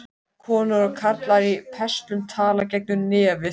Konur og karlar í pelsum tala gegnum nefið.